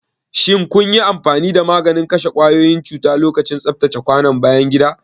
Shin kun yi amfani da maganin kashe kwayoyin cuta lokacin tsaftace kwanon bayan gida?